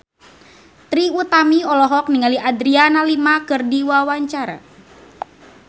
Trie Utami olohok ningali Adriana Lima keur diwawancara